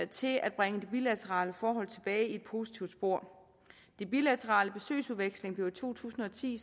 til at bringe det bilaterale forhold tilbage i et positivt spor den bilaterale besøgsudveksling blev i to tusind og ti